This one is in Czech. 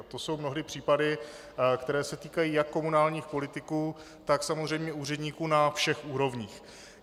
A to jsou mnohdy případy, které se týkají jak komunálních politiků, tak samozřejmě úředníků na všech úrovních.